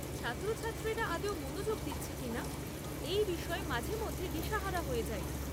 ছাত্রছাত্রীরা আদৌ মনোযোগ দিচ্ছে কিনা, এই বিষয়ে মাঝে মধ্যে দিশাহারা হয়ে যাই।